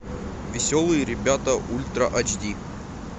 веселые ребята ультра эйч ди